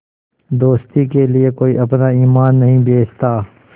दोस्ती के लिए कोई अपना ईमान नहीं बेचता